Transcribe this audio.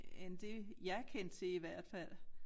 End det jeg kendte til i hvert fald